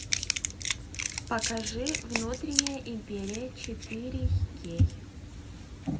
покажи внутренняя империя четыре кей